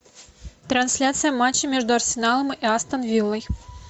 трансляция матча между арсеналом и астон виллой